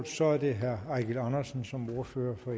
så er det herre eigil andersen som ordfører for